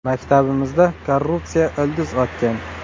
Maktabimizda korrupsiya ildiz otgan.